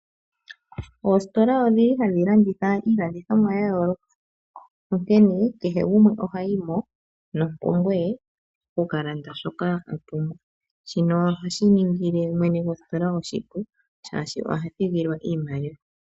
Oositola odhi li hadhi landitha iilandithomwa ya yooloka. Onkene kehe gumwe ohayi mo nompumbwe ye oku ka landa shoka a pumbwa, shino ohashi ningi le mwene gositola oshipu shaashi oha thigilwa iimaliwa.